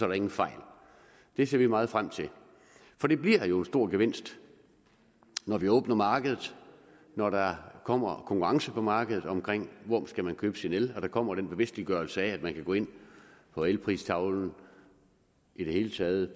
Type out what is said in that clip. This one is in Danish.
der ingen fejl det ser vi meget frem til for det bliver jo en stor gevinst når vi åbner markedet når der kommer konkurrence på markedet om hvor man skal købe sin el når der kommer den bevidstgørelse af at man kan gå ind på elpristavlen i det hele taget